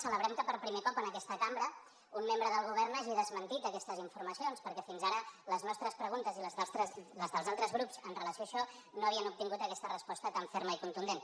celebrem que per primer cop en aquesta cambra un membre del govern hagi desmentit aquestes informacions perquè fins ara les nostres preguntes i les dels altres grups amb relació a això no havien obtingut aquesta resposta tan ferma i contundent